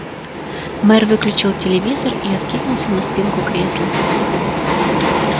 мэр выключил телевизор и откинулся на спинку кресла